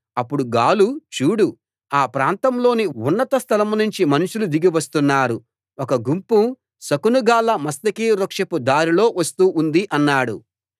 అప్పుడు గాలు చూడు ఆ ప్రాంతంలోని ఉన్నత స్థలం నుంచి మనుషులు దిగి వస్తున్నారు ఒక గుంపు శకునగాళ్ళ మస్తకి వృక్షపు దారిలో వస్తూ ఉంది అన్నాడు